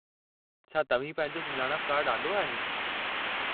छा तव्हीं पंहिंजो सुञाणप कार्ड आंदो आहे?